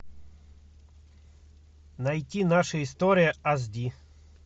найти наша история аш ди